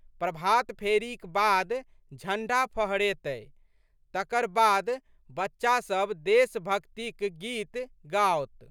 प्रभातफेरीक बाद झंडा फहरेतै। तकर बाद बच्चासब देशभक्तिक गीत गाओत।